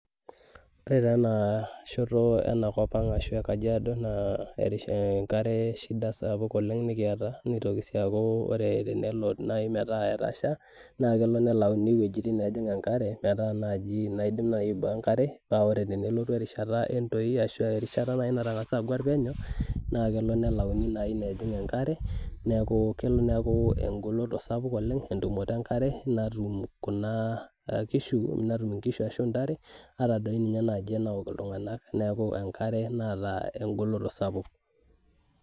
Ore ta enashoto enakop ang ashu enakop ekajiado na enkare shida sapuk nikiata, nelo nai ometa etasha na kelo nelauni wuejitin najing enkare naidim naji aiboo enkare ore tenelotu erishata entoi ashi erishata nataguere penyo na kelo na nelauni tinewueji enkare neaku kelo neaku engoloto sapuk entumoto enkare netum inkishu arashu ntare atan duonye anaok ltunganak neaku enkare nataa engoloto sapuk.